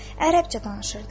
Ərəbcə danışırdılar.